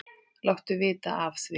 Láttu vita af því.